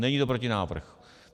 Není to protinávrh.